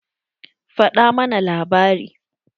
Faɗa mana labari.